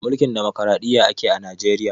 Mulkin dimukuraɗiyya ake a najeriya